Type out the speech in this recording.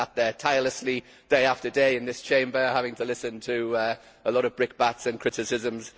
He sat there tirelessly day after day in this Chamber, having to listen to a lot of brickbats and criticisms.